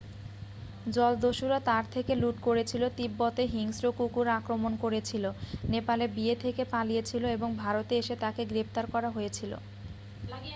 জলদস্যুরা তার থেকে লুট করেছিল তিব্বতে হিংস্র কুকুর আক্রমণ করেছিল নেপালে বিয়ে থেকে পালিয়েছিল এবং ভারতে এসে তাকে গ্রেপ্তার করা হয়েছিল